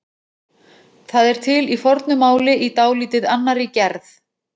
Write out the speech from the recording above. Það er til í fornu máli í dálítið annarri gerð.